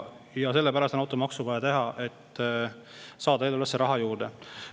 Sellepärast ongi vaja teha automaks, et eelarvesse raha juurde saada.